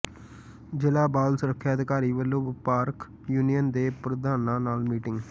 ਜ਼ਿਲ੍ਹਾ ਬਾਲ ਸੁਰੱਖਿਆ ਅਧਿਕਾਰੀ ਵਲੋਂ ਵਪਾਰਕ ਯੂਨੀਅਨ ਦੇ ਪ੍ਰਧਾਨਾਂ ਨਾਲ ਮੀਟਿੰਗ